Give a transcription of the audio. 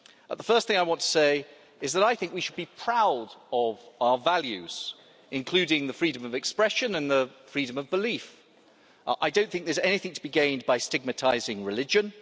The first thing I want to say is that I think we should be proud of our values, including those of freedom of expression and freedom of belief. I don't think there's anything to be gained by stigmatising religion.